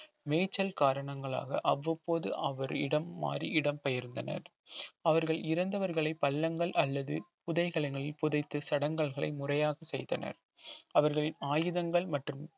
மேய்ச்சல் காரணங்களாக அவ்வப்போது அவரிடம் மாறி இடம்பெயர்ந்தனர் அவர்கள் இறந்தவர்களை பள்ளங்கள் அல்லது புதைகலனுள் புதைத்து சடங்கல்களை முறையாக செய்தனர் அவர்களின் ஆயுதங்கள் மற்றும்